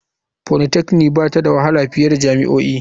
Polytechnic ba ta da wahala fiye da jami'o'i.